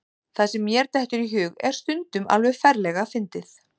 Það sem mér dettur í hug er stundum alveg ferlega fyndið.